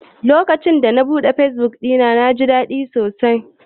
Lokacin da na buɗe fesbuk ɗina, na ji daɗi.